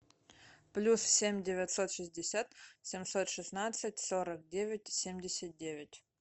плюс семь девятьсот шестьдесят семьсот шестнадцать сорок девять семьдесят девять